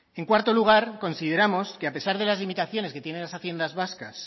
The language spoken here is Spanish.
en cuarto lugar consideramos que a pesar de las limitaciones que tienen las haciendas vascas